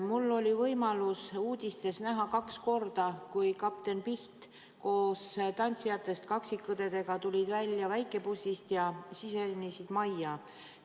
Mul oli võimalus uudistest kaks korda näha, kuidas kapten Piht ja tantsijatest kaksikõed tulid välja väikebussist ja sisenesid majja.